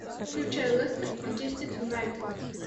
включай лестер манчестер юнайтед